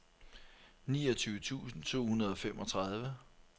niogtyve tusind to hundrede og femogtredive